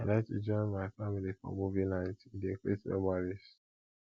i like to join my family for movie nights e dey create memories